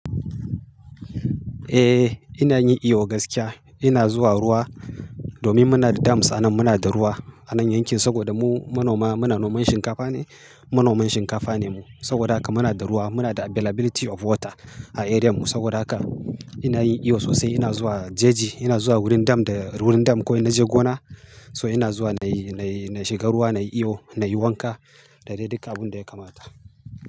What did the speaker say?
Eh ina yin iyo gaskiya. Ina zuwa ruwa domin muna da dams a nan muna da ruwa a nan yankin saboda mu manoma muna noman shinkafa ne, manoman shinkafa ne mu. Saboda haka muna da ruwa muna da availability of water a area mu saboda haka ina yin iyo sosai. Ina zuwa jeji ina zuwa wurin dam da wurin dam ko in naje gona so ina zuwa nayi nayi na shiga ruwa nayi iyo nayi wanka da dai duk abun da ya kamata.